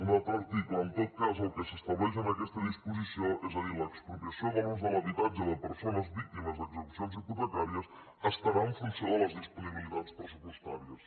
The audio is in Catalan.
un altre article en tot cas el que s’estableix en aquesta disposició és a dir l’expropia·ció de l’ús de l’habitatge de persones víctimes d’exe·cucions hipotecàries estarà en funció de les disponi·bilitats pressupostàries